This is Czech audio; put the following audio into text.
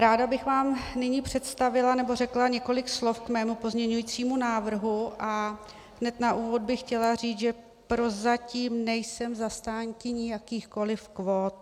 Ráda bych vám nyní představila, nebo řekla několik slov k svému pozměňujícímu návrhu a hned na úvod bych chtěla říct, že prozatím nejsem zastánkyní jakýchkoliv kvót.